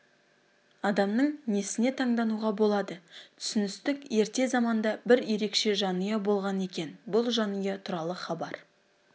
адамның несіне тандануға болады түсіністік ерте заманда бір ерекше жанұя болған екен бұл жанұя туралы хабар